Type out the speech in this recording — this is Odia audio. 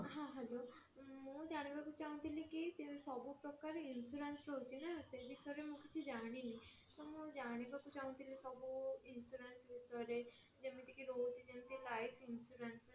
ହଁ hello ମୁଁ ଜାଣିବାକୁ ଚାହୁଁଥିଲି କି ସବୁ ପ୍ରକାର insurance ରହୁଛି ନା ସେ ବିଷୟରେ ମୁଁ କିଛି ଜାଣିନି ତ ମୁଁ ଜାଣିବାକୁ ଚାହୁଁଥିଲି ସବୁ insurance ବିଷୟରେ ଯେମିତି କି ରହୁଛି ଯେମିତି କି ରହୁଛି ଯେମିତି କି life insurance